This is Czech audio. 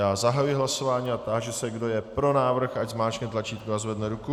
Já zahajuji hlasování a táži se, kdo je pro návrh, ať zmáčkne tlačítko a zvedne ruku.